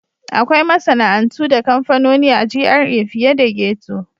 Akwai masana'antu da kamfanoni a GRA fiye da ghetto.